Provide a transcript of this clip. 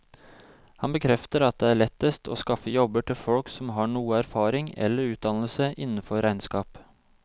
Han bekrefter at det er lettest å skaffe jobber til folk som har noe erfaring eller utdannelse innenfor regnskap.